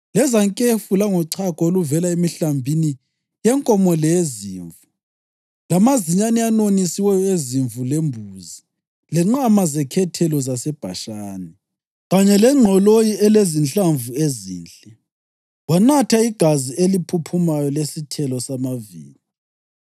lezankefu langochago oluvela emihlambini yenkomo leyezimvu; lamazinyane anonisiweyo ezimvu lembuzi, lenqama zekhethelo zaseBhashani, kanye lengqoloyi elezinhlamvu ezinhle. Wanatha igazi eliphuphumayo lesithelo samavini.